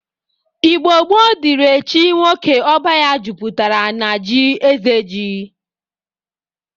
Igbo gboo dịri echi nwoke ọba ya jụpụtara n'ji eze ji.